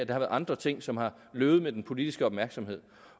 været andre ting som er løbet med den politiske opmærksomhed